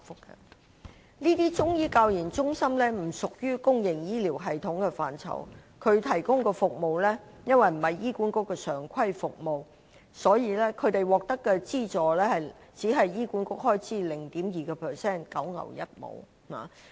這些中醫教研中心不屬於公營醫療系統的範疇，所提供的服務因為不是醫管局的常規服務，所以獲得的資助只是醫管局開支的 0.2%， 實屬九牛一毛。